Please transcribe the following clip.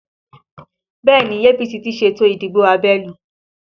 Bẹẹ ni, APC ti ṣètò ìdìbò abẹ́nú